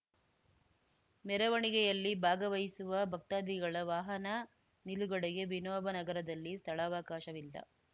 ಮೆರವಣಿಗೆಯಲ್ಲಿ ಭಾಗವಹಿಸುವ ಭಕ್ತಾದಿಗಳ ವಾಹನ ನಿಲುಗಡೆಗೆ ವಿನೋಬ ನಗರದಲ್ಲಿ ಸ್ಥಳಾವಕಾಶವಿಲ್ಲ